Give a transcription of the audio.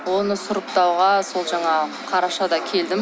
оны сұрыптауға сол жаңағы қарашада келдім